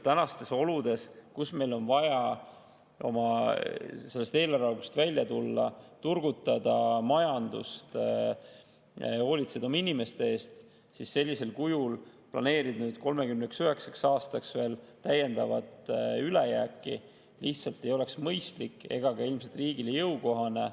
Tänastes oludes, kui meil on vaja oma eelarveaugust välja tulla, turgutada majandust ja hoolitseda oma inimeste eest, sellisel kujul planeerida 39 aastaks veel täiendavat ülejääki lihtsalt ei oleks mõistlik ega ka ilmselt riigile jõukohane.